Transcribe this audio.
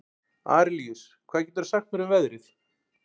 Arilíus, hvað geturðu sagt mér um veðrið?